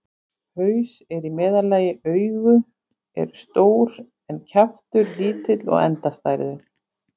Haus er í meðallagi, augu eru stór en kjaftur lítill og endastæður.